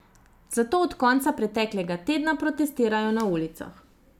Zato od konca preteklega tedna protestirajo na ulicah.